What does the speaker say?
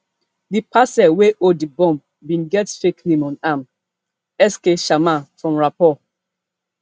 di parcel wey hold d bomb bin get fake name on am sk sharma from raipur